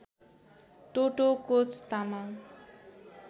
टोटो Koch Tamang